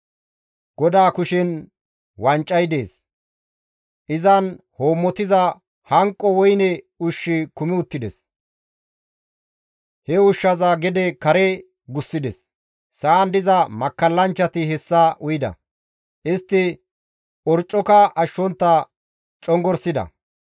GODAA kushen wancay dees; izan hoommotiza hanqo woyne ushshi kumi uttides; he ushshaza gede kare gussides; sa7an diza makkallanchchati hessa uyida; istti orccoka ashshontta congorsida.